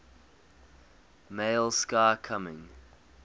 male sky coming